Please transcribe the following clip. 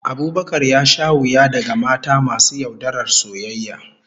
Abubakar ya sha wuya daga mata masu yaudarar soyayya